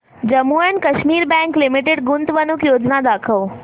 Jammu and Kashmir bank limited गुंतवणूक योजना दाखव